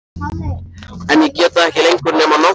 En ég get það ekki lengur nema á nóttunni.